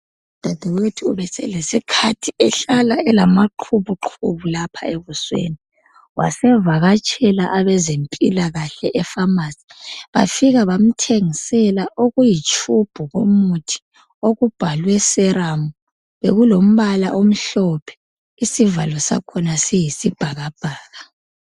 Udadewethu ubeselesikhathi ehlala elamaqhubuqhubu lapha ebusweni wasevakatshela abezempilakahle efamasi bafika bamthengisela okuyitshubhu komuthi okubhalwe serum. Bekulombala omhlophe isivalo sakhona silombala oyisibhakabhaka.